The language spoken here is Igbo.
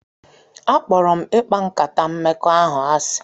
Akpọrọ m ịkpa nkata mmekọahụ asị